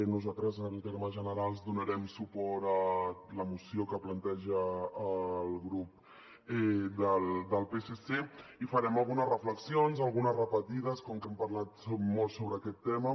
nosaltres en termes generals donarem suport a la moció que planteja el grup del psc i farem algunes reflexions algunes repetides com que hem parlat molt sobre aquest tema